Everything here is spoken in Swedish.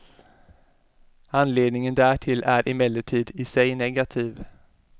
Anledningen därtill är emellertid i sig negativ.